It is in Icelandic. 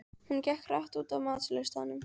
Hún gekk hratt út af matsölustaðnum.